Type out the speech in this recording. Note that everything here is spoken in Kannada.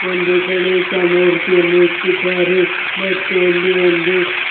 ಒಂದು ಗಣೇಶ ಮೂರ್ತಿಯನ್ನು ಇಟ್ಟಿದ್ದಾರೆ ಮತ್ತು ಅಲ್ಲಿ ಒಂದು --